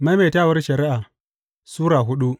Maimaitawar Shari’a Sura hudu